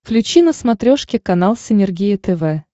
включи на смотрешке канал синергия тв